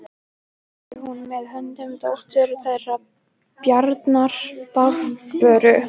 Hafði hún með höndum dóttur þeirra Bjarnar, Barböru.